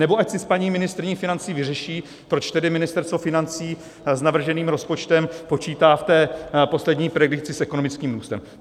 Nebo ať si s paní ministryní financí vyřeší, proč tedy Ministerstvo financí s navrženým rozpočtem počítá v té poslední predikci s ekonomickým růstem.